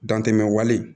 Dantɛmɛ wale